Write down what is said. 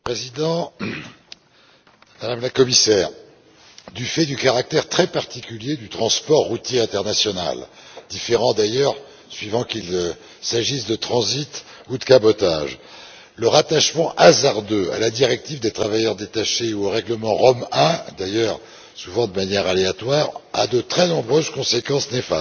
Monsieur le Président, Madame la Commissaire, du fait du caractère très particulier du transport routier international différent d'ailleurs suivant qu'il s'agisse de transit ou de cabotage le rattachement hasardeux à la directive des travailleurs détachés ou au règlement Rome I d'ailleurs souvent de manière aléatoire a de très nombreuses conséquences néfastes.